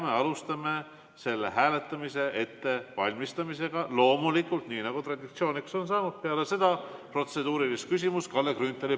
Me alustame selle hääletamise ettevalmistamist, loomulikult, nii nagu traditsiooniks on saanud, peale protseduurilist küsimust Kalle Grünthalilt.